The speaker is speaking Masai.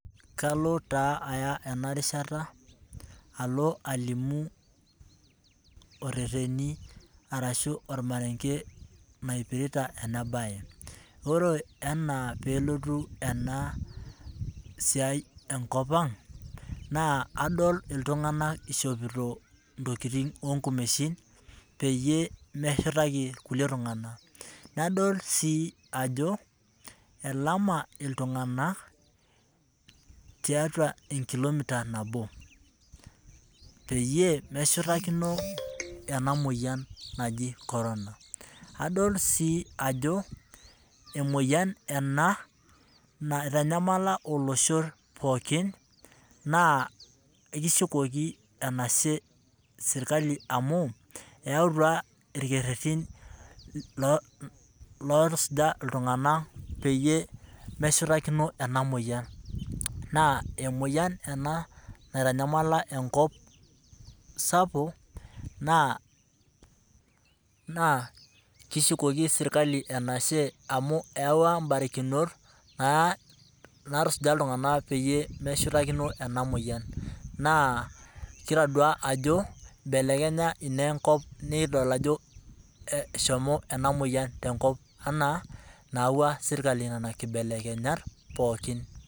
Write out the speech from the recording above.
Kalo taa aya enarishata alo alimu ,oreteni orashua ormarenge naipirita ena bae .ore ana pee elotu ena siai enkop ang, naa adol iltunganak eishopito intokiting oonkumeishin peyie meshurtaki kulie tunganak. nadol sii ajo elama iltunganak tiatua enkilomiter nabo peyie meshuratakino ena moyian naji corona. adol sii ajo emoyian ena naitanyamala olosho pookin, naa ekishukoki enashe sirkali amu eyautua irkeretin ootusuja iltunganak peyie meshutakino ena moyian .naa emoyian ena naitanyamala enkop sapuk ,naa kishukoki serkali enashe amu eewa mbarikinot naatusuja iltunganak peyie peshutakino ena moyian naa kidol ajo eibelekenya ina enkop naa kidol ajo eshomo ena moyian tenkop anaa enayauwa sirkali nena kibelekenyat pookin.